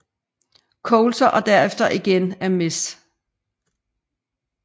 Coulter og derefter igen af Mrs